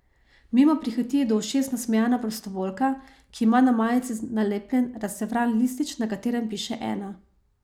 Mimo prihiti do ušes nasmejana prostovoljka, ki ima na majici nalepljen razcefran listič, na katerem piše Ena.